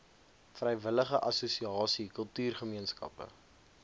vrywillige assosiasie kultuurgemeenskappe